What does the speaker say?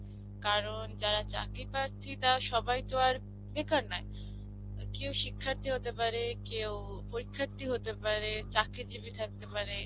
কারণ, যারা চাকরিপ্রাথী তারা সবাইতো আর বেকার নয়. কেউ শিক্ষার্থী হতে পারে, কেউ পরীক্ষার্থী হতে পারে, চাকরিজীবি থাকতে পারে.